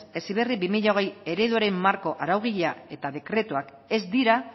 heziberri bi mila hogei ereduaren marko araugilea eta dekretuak ez dira